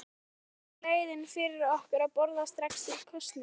Er eina leiðin fyrir okkur að boða strax til kosninga?